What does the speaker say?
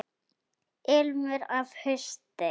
Ilmur af hausti!